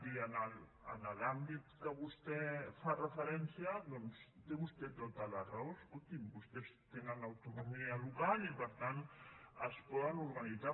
i en l’àmbit a què vostè fa referència doncs té vostè tota la raó escolti’m vostès tenen autonomia local i per tant es poden organitzar